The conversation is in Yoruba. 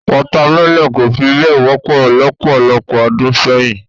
Water melon kò fi bẹ́ẹ̀ wọ́pọ̀ lọ́pọ̀lọpọ̀ ọdún sẹ́yìn.